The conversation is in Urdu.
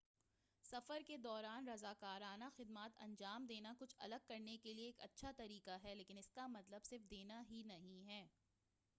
سفر کے دوران رضاکارانہ خدمات انجام دینا کچھ الگ کرنے کے لئے ایک اچھا طریقہ ہے لیکن اس کا مطلب صرف دینا ہی نہیں ہے